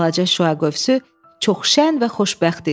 Balaca şüa qövsü çox şən və xoşbəxt idi.